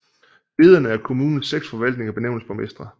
Lederne af kommunens seks forvaltninger benævnes borgmestre